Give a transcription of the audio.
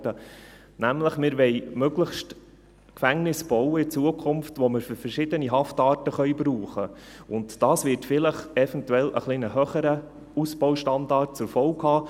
Wir wollen nämlich zukünftig möglichst Gefängnisse bauen, die wir für verschiedene Haftarten brauchen können, und dies wird vielleicht eventuell einen etwas höheren Ausbaustandard zur Folge haben.